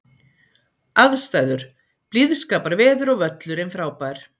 Aðstæður: Blíðskaparveður og völlurinn frábær.